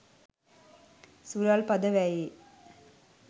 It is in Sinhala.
සුරල් පද වැයේ